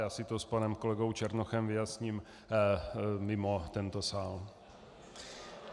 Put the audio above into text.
Já si to s panem kolegou Černochem vyjasním mimo tento sál.